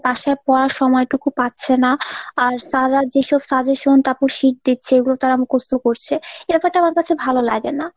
বাসায় পড়ার সময়টুকু পাচ্ছে না, আর sir রা যেসব suggestion তারপর sheet দিচ্ছে এগুলো তারা মুখস্ত করছে এ ব্যাপারটা আমার কাছে ভালো লাগে না।